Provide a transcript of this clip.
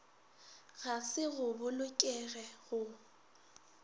ga se go bolokege go